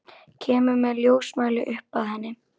Kemur með ljósmæli upp að henni.